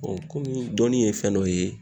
kɔmi dɔnni ye fɛn dɔ ye